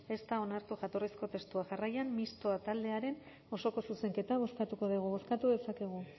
ez da onartu jatorrizko testua jarraian mistoa taldearen osoko zuzenketa bozkatuko dugu bozkatu dezakegu